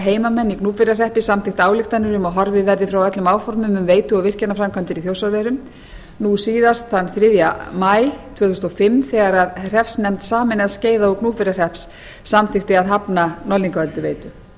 heimamenn í gnúpverjahreppi samþykkt ályktanir um að horfið verði frá öllum áformum um veitu og virkjanaframkvæmdir í þjórsárverum nú síðast þann þriðja maí tvö þúsund og fimm þegar hreppsnefnd sameinaðs skeiða og gnúpverjahrepps samþykkti að hafna norðlingaölduveitu það